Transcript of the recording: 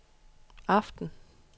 aften